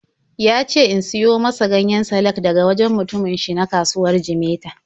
Ya ce in siyo masa ganyen salak daga wajen mutumin shi na kasuwar Jimeta.